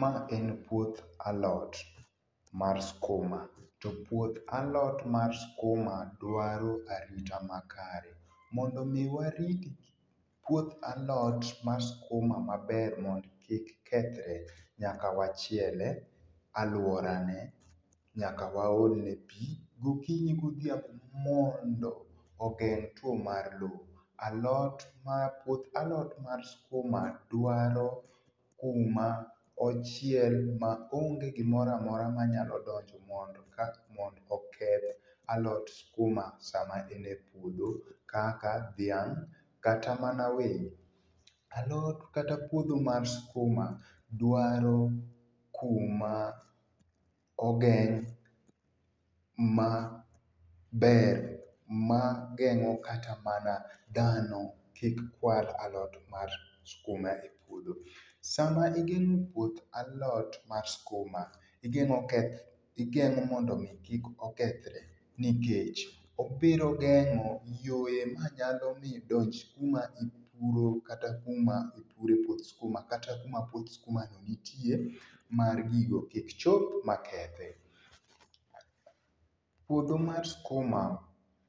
Mae en puoth alot mar skuma, to puoth alot mar skuma dwaro arita makare. Mondo mi warit puoth alot mar skuma maber mondo kik kethre, nyaka wachiele aluora ne, nyaka waolne pii gokinyi godhiambo mondo ogeng’ two mar loo. Alot mar, puoth alot mar skuma dwaro kuma ochiel ma onge gimoro amora ma nyalo donje mondo kata, mondo oketh aot skuma sama en e puodho kaka dhiang’ kata mana winy. A lot kata puodho mar skuma dwaro kuma ogeng’ ma ber ma gengo kata mana dhano kik kwal alot mar skuma e puodho. Sama igengo puoth alot mar skuma, igengo keth, igengo mondo mi kik okethre nikech obiro gengo yore ma nyalo mi donj kuma ipuro, kata kuma ipure puoth skuma kata kuma puoth skuma no nitie mar gigo kik chop makethe. Puodho mar skuma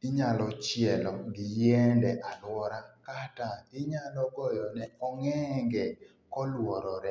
inyalo chielo gi yiende aluora kata inyalo goyone ong’enge ka oluorore